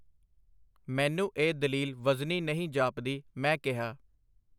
ਮੈਨੂੰ ਇਹ ਦਲੀਲ ਵਜ਼ਨੀ ਨਹੀਂ ਜਾਪਦੀ, ਮੈਂ ਕਿਹਾ.